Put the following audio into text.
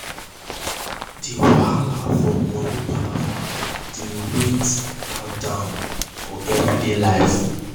the wahala from money palava dey weigh dey weigh her down for everyday life.